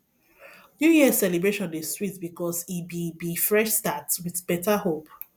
new year celebration dey sweet because e be be fresh start with better hope